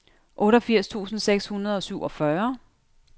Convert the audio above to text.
otteogfirs tusind seks hundrede og syvogfyrre